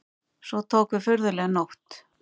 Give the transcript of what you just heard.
Svo tók við furðuleg nótt.